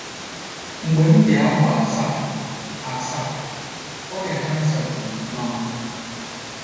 Mgbe m dị afọ asaa asaa, ọrịa kansa gburu mama m.